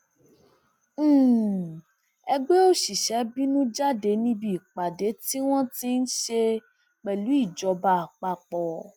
um ẹgbẹ òṣìṣẹ bínú jáde níbi ìpàdé tí um wọn ṣe pẹlú ìjọba àpapọ